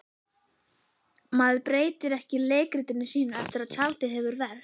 Maður breytir ekki leikritinu sínu eftir að tjaldið hefur ver